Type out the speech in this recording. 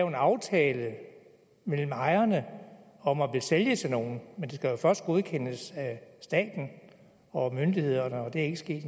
en aftale mellem ejerne om at sælge til nogen men det skal jo først godkendes af staten og myndighederne og det er ikke sket